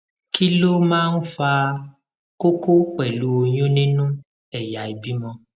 kí ló máa ń fa koko pelu oyun nínú ẹyà ìbímọ